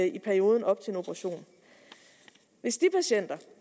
i perioden op til en operation hvis de patienter